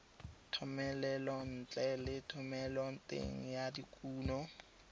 thomelontle le thomeloteng ya dikuno